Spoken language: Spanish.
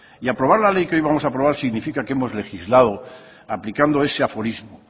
y aprobar la ley que hoy vamos a aprobar significa que hemos legislado aplicando ese aforismo